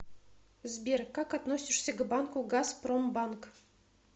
сбер как относишься к банку газпромбанк